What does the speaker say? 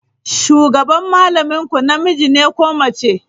Shugaban malamin ku namiji ne ko mace?